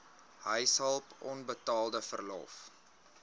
huishulp onbetaalde verlof